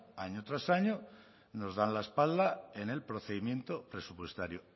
año tras año nos dan la espalda en el procedimiento presupuestario